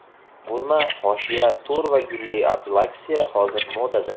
Burma hoshiya, to‘r va gulli applikatsiya hozir modada.